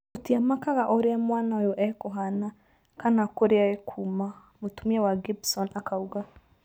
‘’Tũtiamakaga ũrĩa mwana ũyũ ekũhana kana kũrĩa ekuma’’ mũtumia wa Gibson akauga